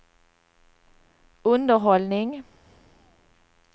underhållning